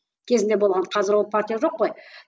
кезінде болған қазір ол партия жоқ қой